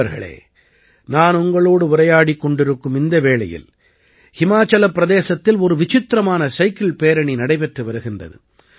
நண்பர்களே நான் உங்களோடு உரையாடிக் கொண்டிருக்கும் வேளையில் ஹிமாச்சலப் பிரதேசத்தில் ஒரு விசித்திரமான சைக்கிள் பேரணி நடைபெற்று வருகிறது